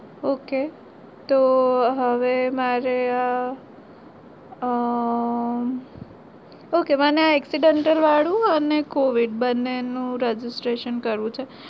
Okay તો હવે મારે આ ok વાના accidental વાળું અને covid બંને નું registration કરવું છે